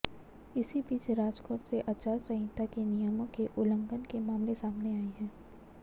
इसी बीच राजकोट से आचार संहिता के नियमों के उल्लंघन के मामले सामने आए हैं